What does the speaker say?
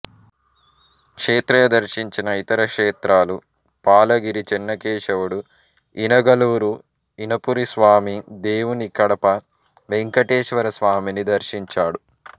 క్షేత్రయ్య దర్శించిన ఇతర క్షేత్రాలు పాలగిరి చెన్నకేశవుడు ఇనగలూరు ఇనపురి స్వామి దేవుని కడప వెంకటేశ్వర స్వామిని దర్శించాడు